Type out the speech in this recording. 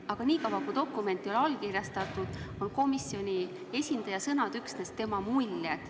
Aga niikaua, kui dokument ei ole allkirjastatud, on komisjoni esindaja sõnad üksnes tema muljed.